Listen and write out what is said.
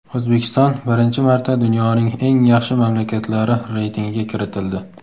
O‘zbekiston birinchi marta dunyoning eng yaxshi mamlakatlari reytingiga kiritildi.